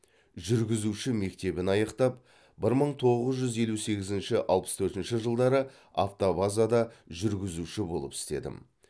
жүргізуші мектебін аяқтап бір мың боғыз жүз елу сегізінші алпыс төртінші жылдары автобазада жүргізуші болып істедім